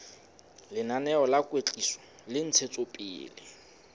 lenaneo la kwetliso le ntshetsopele